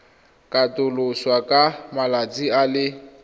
katoloswa ka malatsi a le